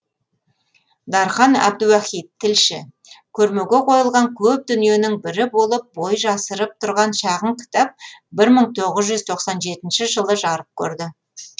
дархан әбдуахит тілші көрмеге қойылған көп дүниенің бірі болып бой жасырып тұрған шағын кітап бір мың тоғыз жүз тоқсан жетінші жылы жарық көрді